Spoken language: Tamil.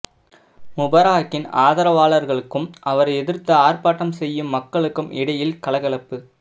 முபாரக்கின் ஆதரவாளர்களுக்கும் அவரை எதிர்த்து ஆர்ப்பாட்டம் செய்யும் மக்களுக்கும் இடையில் கலகலப்பு